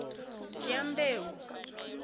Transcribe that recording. dyambeu